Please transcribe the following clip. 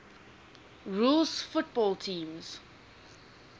rules football teams